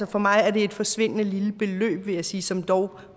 for mig er det et forsvindende lille beløb vil jeg sige som dog